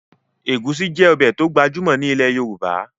Ẹ̀gúsí jẹ́ ọbẹ̀ tó gbajúmọ̀ ní ilẹ̀ Yorùbá